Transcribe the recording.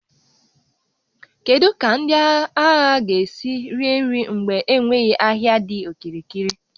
Kedu ka ndị agha ga-esi rie nri mgbe enweghị ahịa dị okirikiri?